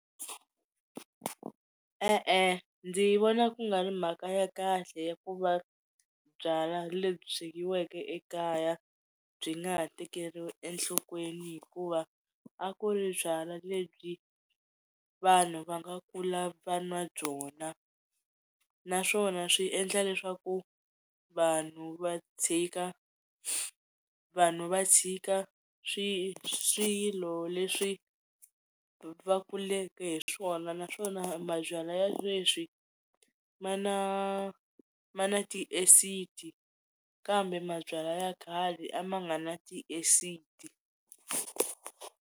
E-e ndzi vona ku nga ri mhaka ya kahle ya ku va byalwa lebyi swekiweke ekaya byi nga ha tekeriwi enhlokweni hikuva a ku ri byalwa lebyi vanhu va nga kula va nwa byona, naswona swi endla leswaku vanhu va tshika vanhu va tshika swi swilo leswi va kuleke hi swona naswona mabyalwa ya sweswi ma na ma na ti-acid-i kambe mabyalwa ya khale a ma nga na ti-acid-i.